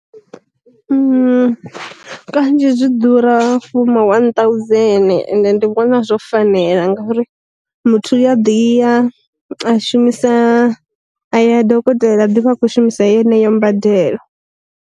Kanzhi zwi ḓura foma one thousand ende ndi vhona zwo fanela ngauri muthu u a ḓi i ya a shumisa a ya dokotela a ḓi vha a khou shumisa yeneyo mbadelo.